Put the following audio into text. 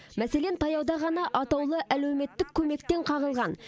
мәселен таяуда ғана атаулы әлеуметтік көмектен қағылған